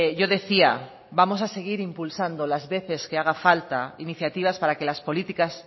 yo decía vamos a seguir impulsando las veces que haga falta iniciativas para que las políticas